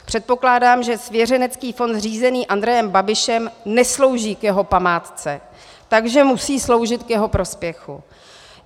Předpokládám, že svěřenský fond řízený Andrejem Babišem neslouží k jeho památce, takže musí sloužit k jeho prospěchu.